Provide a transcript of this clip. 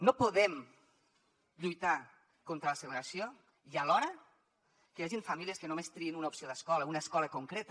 no podem lluitar contra la segregació i alhora que hi hagin famílies que només triïn una opció d’escola una escola concreta